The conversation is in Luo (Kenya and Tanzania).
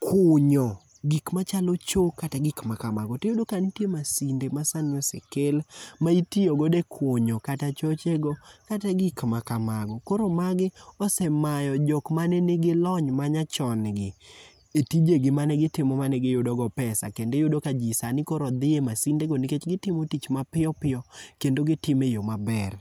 kunyo, gik machalo choo, kata gik ma kamago, tiyudo ka nitie masinde ma sani osekel, ma itiyo godo e kunyo kata chochego kata gik ma kamago. Koro magi osemayo jok mane nigi lony manyachongi e tijegi manegitimo manegiyudogo pesa, kendo iyudo ka ji sani dhie masindego, nikech, gitimo tich mapiyo piyo kendo gitimo e yo maber.